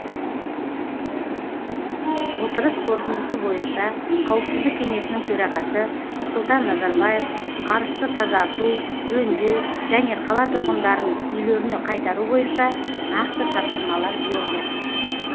отырыс қорытындысы бойынша қауіпсіздік кеңесінің төрағасы нұрсұлтан назарбаев арысты тазарту жөндеу және қала тұрғындарын үйлеріне қайтару бойынша нақты тапсырмалар берді